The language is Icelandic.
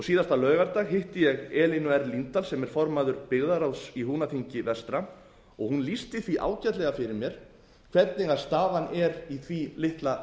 síðasta laugardag hitt ég elínu r líndal sem er formaður byggðaráðs í húnaþingi vestra hún lýsti því ágætlega fyrir mér hvernig staðan er í því litla